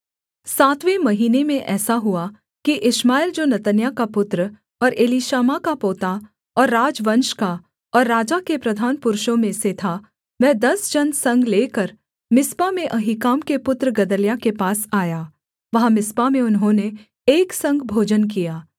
सातवें महीने में ऐसा हुआ कि इश्माएल जो नतन्याह का पुत्र और एलीशामा का पोता और राजवंश का और राजा के प्रधान पुरुषों में से था वह दस जन संग लेकर मिस्पा में अहीकाम के पुत्र गदल्याह के पास आया वहाँ मिस्पा में उन्होंने एक संग भोजन किया